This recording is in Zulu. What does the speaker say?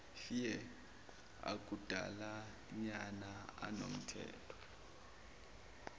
fear akudalanyana anomthetho